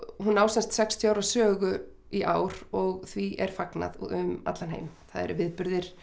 hún á sem sagt sextíu ára sögu í ár og því er fagnað um allan heim það eru viðburðir